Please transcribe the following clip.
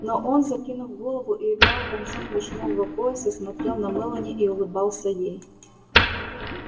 но он закинув голову и играя концом вишнёвого пояса смотрел на мелани и улыбался ей